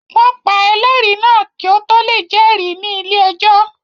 Wọ́n pa ẹlẹ́rìí náà kí ó tó lè jẹ́rìí ní ilé-ẹjọ́